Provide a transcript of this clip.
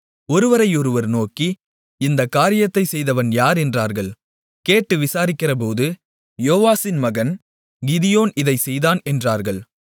ஒருவரையொருவர் நோக்கி இந்தக் காரியத்தைச் செய்தவன் யார் என்றார்கள் கேட்டு விசாரிக்கிறபோது யோவாசின் மகன் கிதியோன் இதைச் செய்தான் என்றார்கள்